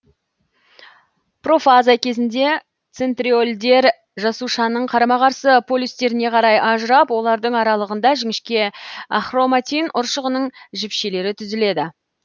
профаза кезінде центриольдер жасушаның қарама қарсы полюстеріне қарай ажырап олардың аралығында жіңішке ахроматин ұршығының жіпшелері түзіледі